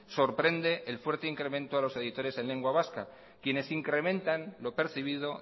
sorprende el fuerte incremento a los editores en lengua vasca quienes incrementan lo percibido